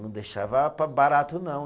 Não deixava para barato, não.